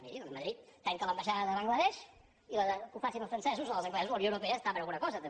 doncs miri madrid tanca l’ambaixada de bangla desh i que ho facin els francesos o els anglesos la unió europea està per a alguna cosa també